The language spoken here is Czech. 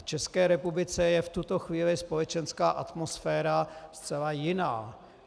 V České republice je v tuto chvíli společenská atmosféra zcela jiná.